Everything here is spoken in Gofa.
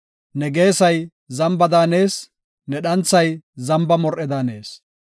Ne geesay zamba daanees; ne dhanthay zamba mor77e daanees.